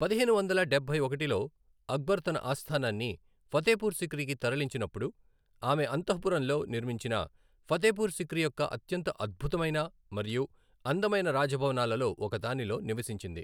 పదిహేను వందల డబ్బై ఒకటిలో అక్బర్ తన ఆస్థానాన్ని ఫతేపూర్ సిక్రీకి తరలించినప్పుడు, ఆమె అంతఃపురంలో నిర్మించిన ఫతేపూర్ సిక్రీ యొక్క అత్యంత అద్భుతమైన మరియు అందమైన రాజభవనాలలో ఒకదానిలో నివసించింది.